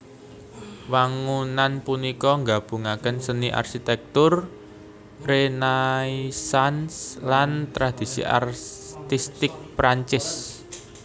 Wangunan punika nggabungaken seni arsitèktur Renaisans lan tradisi artistik Prancis